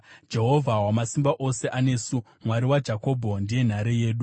Jehovha Wamasimba Ose anesu; Mwari waJakobho ndiye nhare yedu. Sera